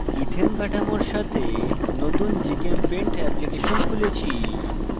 ethane c2h6 কাঠামোর সাথে নতুন gchempaint এপ্লিকেশন খুলেছি